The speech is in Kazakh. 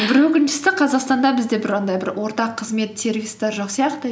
бір өкініштісі қазақстанда бізде бір андай бір ортақ қызмет сервистер жоқ сияқты